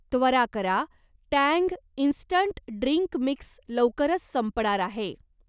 त्वरा करा, Tang instant drink mix लवकरच संपणार आहे.